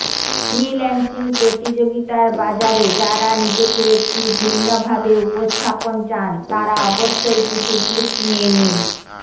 freelancing প্রতিযোগিতার বাজারে যারা নিজেকে একটি ভিন্নভাবে উপস্থাপন চান তারা অবশ্যই কিছু টিপস নিয়ে নিন